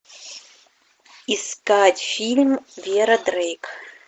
искать фильм вера дрейк